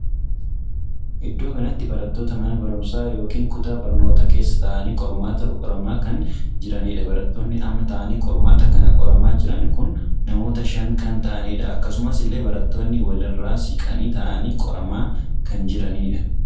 Iddoo kanatti barattoota mana barumsaa ykn kutaa barnootaa keessa taa'anii qormaata qoramaa kan jiraniidha. barattoonni amma taa'anii qormaata kana qoramaa jiran kun namoota shan kan taa'aniidha. akkasuma illee barattoonni walii irra siqanii taa'anii qoramaa kan jiranidha.